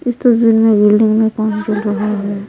इस तस्वीर में बिल्डिंग में काम चल रहा है।